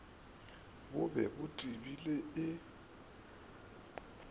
bo be bo tebile e